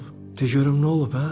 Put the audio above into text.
Tək görüm nə olub hə?